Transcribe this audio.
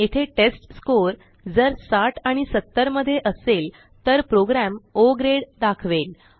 येथे टेस्टस्कोर जर 60 आणि 70 मध्ये असेल तर प्रोग्रॅम ओ ग्रेड दाखवेल